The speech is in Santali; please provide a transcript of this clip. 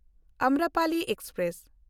ᱟᱢᱨᱚᱯᱟᱞᱤ ᱮᱠᱥᱯᱨᱮᱥ